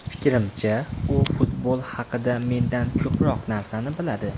Fikrimcha, u futbol haqida mendan ko‘proq narsani biladi.